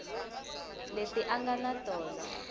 leti a nga na tona